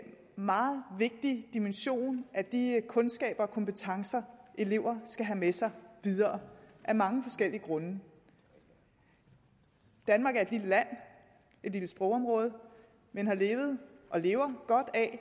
meget vigtig dimension af de kundskaber og kompetencer elever skal have med sig videre af mange forskellige grunde danmark er et lille land et lille sprogområde men har levet og lever godt af at